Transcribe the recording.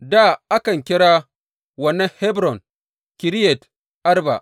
Dā a kan kira wannan Hebron, Kiriyat Arba.